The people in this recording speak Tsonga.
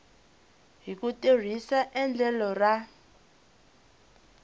hi ku tirhisa endlelo ra